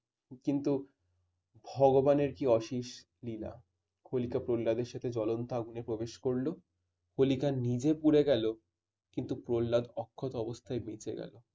কিন্তু ভগবানের কি অশেষ লীলা । হোলিকা প্রহ্লাদের সাথে ঝুলন্ত আগুনে প্রবেশ করলে হোলিকা নিজে পড়ে গেল কিন্তু প্রহ্লাদ অক্ষত অবস্থায় বেঁচে গেল।